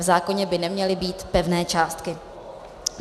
V zákoně by neměly být pevné částky.